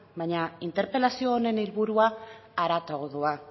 baina interpelazio honen helburua haratago doa